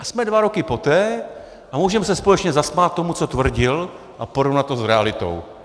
A jsme dva roky poté a můžeme se společně zasmát tomu, co tvrdil, a porovnat to s realitou!